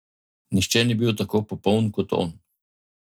Nihče ni bil tako popoln, kot on.